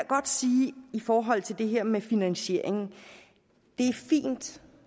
godt sige i forhold til det her med finansieringen det